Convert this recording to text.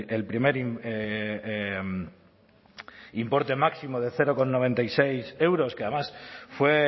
el primer importe máximo de cero coma noventa y seis euros que además fue